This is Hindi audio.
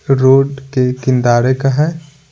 रोड के किंदारे का है।